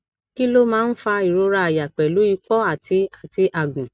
kí ló máa ń fa ìrora àyà pelu iko ati ati agun